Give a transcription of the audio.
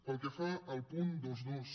pel que fa al punt vint dos